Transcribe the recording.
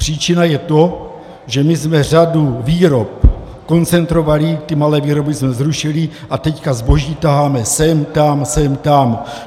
Příčina je to, že my jsme řadu výrob koncentrovali, ty malé výroby jsme zrušili a teď zboží taháme sem tam, sem tam.